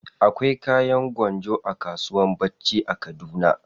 Akwai kayan gwanjo a kasuwan bacci a kaduna.